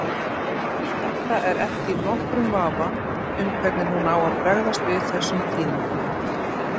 Edda er ekki í nokkrum vafa um hvernig hún á að bregðast við þessum tíðindum.